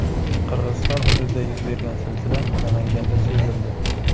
Qirg‘iziston hududida yuz bergan zilzila Namanganda sezildi .